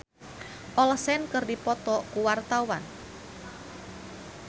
Uya Kuya jeung Elizabeth Olsen keur dipoto ku wartawan